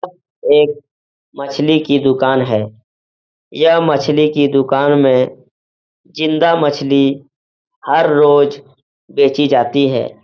एक मछली की दुकान है। यह मछली की दुकान में जिन्दा मछली हर रोज बेची जाती है।